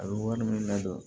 A bɛ wari minnu ladon